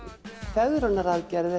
fegrunaraðgerð eða